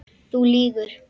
Þú lýgur.